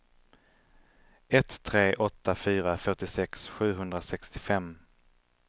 ett tre åtta fyra fyrtiosex sjuhundrasextiofem